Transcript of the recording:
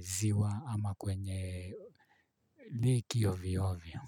ziwa ama kwenye leki ovyo ovyo.